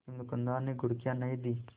लेकिन दुकानदार ने घुड़कियाँ नहीं दीं